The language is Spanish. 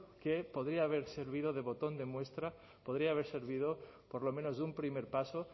que podría haber servido de botón de muestra podría haber servido por lo menos de un primer paso